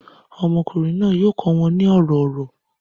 Ọmọkùnrin náà yóò kọ́ wọn ní ọ̀rọ̀ ọ̀rọ̀